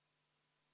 Lauri Laats, palun!